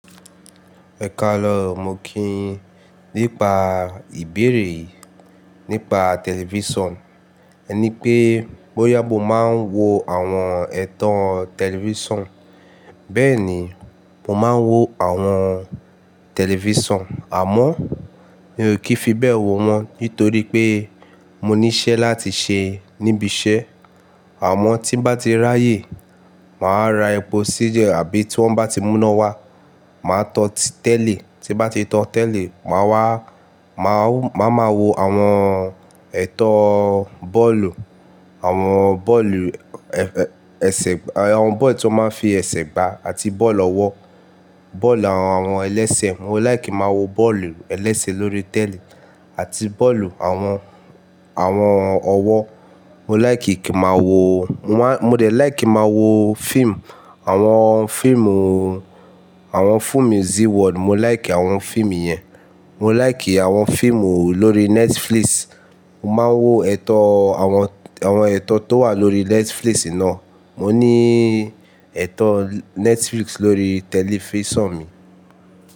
Ẹkàale o, mo kí yin nípa ìbéèrè nípa tẹlifísàn. È ní pé, "bọ́yà mo máa ń wo àwọn ẹ̀tọ́ tẹlifísàn?" Béẹ̀ni, mo máa ń wo àwọn tẹlifísàn, àmọ́ mi ò kì í fi bé ẹ wó wọn nítorí pé mo ní í ṣẹ́ láti ṣe níbi iṣẹ́. Àmọ́ tí mo bá ti ráàyè, màá ra ẹpo sí Gen àbí tí wọ́n bá ti múná wá, màá tan tí tẹ́li. Tí n bá ti tọ́ tẹ́li, màá wa máa wo àwọn ẹ̀tọ́ bọ́ọ̀lù, àwọn ball tí wọ́n máa ń fi ẹ̀ṣẹ̀ gba àti ball ọwọ́, ball àwọn elẹ́sẹ̀. Mo like kin má wo bọ́ọ̀lù elẹ́sè lórí tẹ́li àti bọ́ọ̀lù àwọn ọwọ́. Mo dẹ̀ like má wo film, àwọn fíìmù zee world, mo like i àwọn fíìmù yẹn, mo láìkì àwọn fíìmù lórí Netflix. Mo máa ń wo àwọn ẹ̀tọ́ tó wà lórí Netflix iná. Mo ní ẹ̀tọ́ Netflix lórí tẹlifísàn mi.